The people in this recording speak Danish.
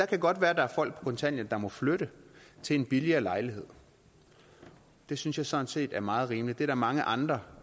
kan godt være at der er folk på kontanthjælp der må flytte til en billigere lejlighed det synes jeg sådan set er meget rimeligt der er mange andre